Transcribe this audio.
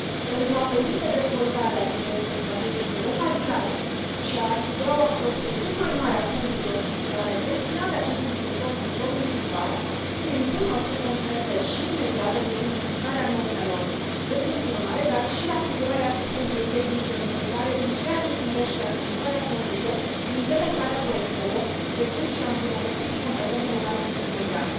Pentru a permite dezvoltarea de proiecte strategice de calitate și a asigura o absorbție cât mai mare a fondurilor structurale destinate acestui sector, sectorului privat, se impun măsuri concrete și imediate de simplificare a normelor de funcționare, dar și asigurarea asistenței tehnice necesare în ceea ce privește accesarea fondurilor, implementarea proiectelor, precum și îmbunătățirea competențelor antreprenoriale.